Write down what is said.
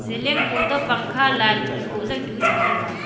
ceiling khoto pangkha light boh zau tuh chamtaiga .